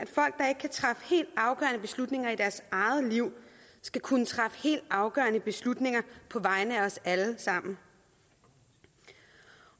at beslutninger i deres eget liv skal kunne træffe helt afgørende beslutninger på vegne af os alle sammen